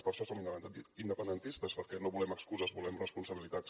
per això som independentistes perquè no volem excuses volem responsabilitats